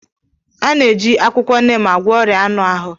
A na-eji akwụkwọ neem agwọ ọrịa anụ ahụ